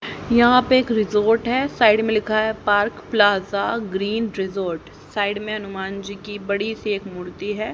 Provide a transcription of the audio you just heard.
यहां पर एक रिसॉर्ट है साइड में लिखा है park plaza green resort side में हनुमान जी की बड़ी सी एक मूर्ति है।